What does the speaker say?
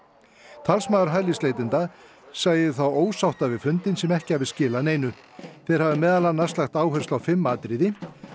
talsmaður hælisleitenda sagði þá ósátta við fundinn sem ekki hafi skilað neinu þeir hafi meðal annars lagt áherslu á fimm atriði